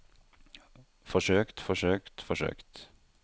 forsøkt forsøkt forsøkt